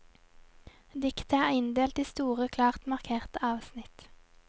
Diktet er inndelt i store klart markerte avsnitt.